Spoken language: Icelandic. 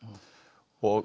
og